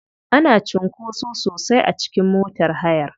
Ana cunkoso sosai a cikin motar hayar.